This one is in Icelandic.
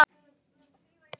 Úlfur getur átt við